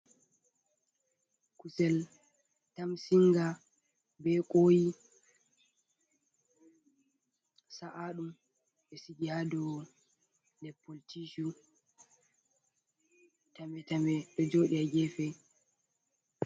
Kusel tamsiinga, be kooyi sa’aɗum, ɓe sigi haa dow leppol tiicu, tame tame ɗo jooɗi haa geefe.